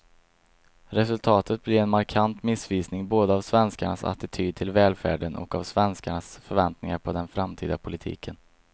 Resultatet blir en markant missvisning både av svenskarnas attityd till välfärden och av svenskarnas förväntningar på den framtida politiken.